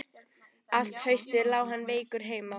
Allt haustið lá hann veikur heima.